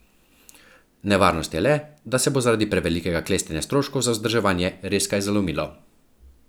Nevarnost je le, da se bo zaradi prevelikega klestenja stroškov za vzdrževanje res kaj zalomilo.